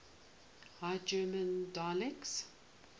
high german dialects